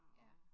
Ja